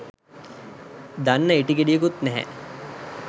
දන්න ඉටි ගෙඩියකුත් නැහැ